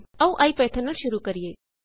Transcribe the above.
ਆਓ ਇਪੀਥੌਨ ਨੂੰ ਸ਼ੁਰੂ ਕਰੀਏ